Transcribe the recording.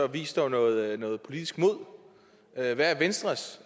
vis dog noget noget politisk mod hvad er venstres